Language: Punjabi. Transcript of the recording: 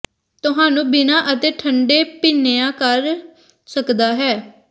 ਤੁਹਾਨੂੰ ਬਿਨਾ ਅਤੇ ਠੰਡੇ ਭੁਿੱਿ ਨਾ ਕਰ ਸਕਦਾ ਹੈ